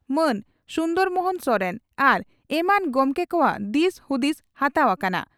ᱢᱟᱱ ᱥᱩᱱᱫᱚᱨ ᱢᱚᱦᱚᱱ ᱥᱚᱨᱮᱱ ᱟᱨ ᱮᱢᱟᱱ ᱜᱚᱢᱠᱮ ᱠᱚᱣᱟᱜ ᱫᱤᱥ ᱦᱩᱫᱤᱥ ᱦᱟᱛᱟᱣ ᱟᱠᱟᱱᱟ ᱾